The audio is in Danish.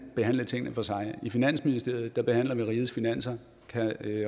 behandle tingene for sig i finansministeriet behandler man rigets finanser og kan